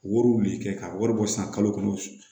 Wariw de kɛ ka wari bɔ san kalo kɔnɔ